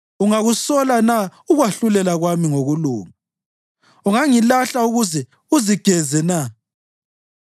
Ungakusola na ukwahlulela kwami ngokulunga? Ungangilahla ukuze uzigeze na?